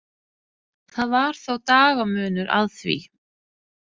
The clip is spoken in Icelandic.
Það var þó dagamunur að því.